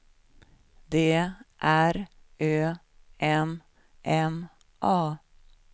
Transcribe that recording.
D R Ö M M A